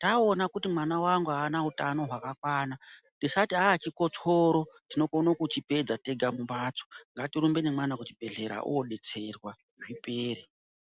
taoona kuti mwana wangu haana utano hwaka kwana tisati aaa chikotsoro tinokone ku chipedza tega mu mbatso ngatirumbe ne mwana ku chibhedhlera odetserwa zvipere.